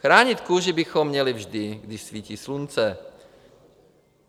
Chránit kůži bychom měli vždy, když svítí slunce.